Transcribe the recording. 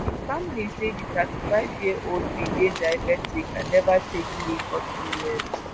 im family say di 35-year-old bin dey diabetic and neva take leave for two years.